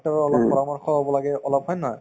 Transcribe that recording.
ৰৰ অলপ পৰামৰ্শ লাগে অলপ হয় নে নহয়